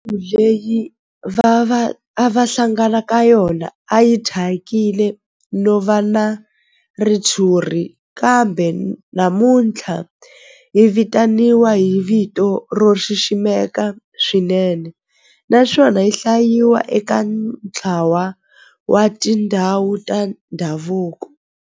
Ndhawu leyi a va hlangana ka yona a yi thyakile no va na ritshuri kambe namuntlha yi vitaniwa hi vito ro xiximeka swinene naswona yi hlayiwa eka ntlawa wa tindhawu ta ndhavuko.